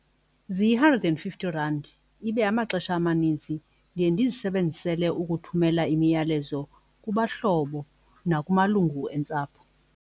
Ziyi-hundred and fifty rand, ibe amaxesha amaninzi ndiye ndizisebenzisele ukuthumela imiyalezo kubahlobo nakumalungu entsapho.